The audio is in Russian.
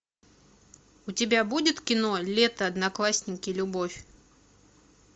у тебя будет кино лето одноклассники любовь